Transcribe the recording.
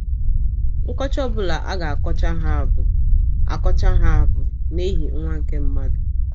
Nkọcha ọ bụla a ga - akọcha ha bụ akọcha ha bụ “ n’ihi Nwa nke mmadụ. ”